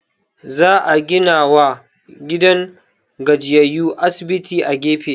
Za a ginawa gidan gajiyayyu asibiti a gefe